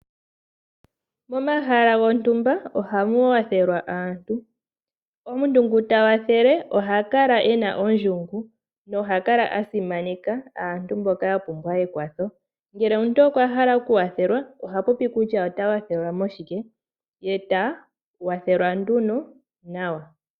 Momahala gontumba ohamu kwathelwa aantu. omuntu ngu ta kwathele oha kala ena ondjungu noha kala a simaneka aantu mboka ya pumbwa ekwatho ngele omuntu okwahala oku kwathelwa oha popi kutya ota kwathelwa moshike ye eta kwathelwa nduno nawa.